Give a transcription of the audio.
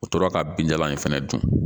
O tora ka bin jalan in fana dun